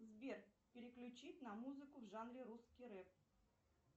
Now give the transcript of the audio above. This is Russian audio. сбер переключить на музыку в жанре русский рэп